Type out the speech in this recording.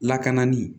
Lakana ni